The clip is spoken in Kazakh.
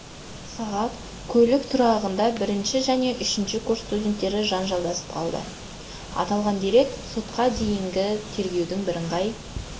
сағат көлік тұрағында бірінші және үшінші курс студенттері жанжалдасып қалды аталған дерек сотқа дейінгі тергеудің бірыңғай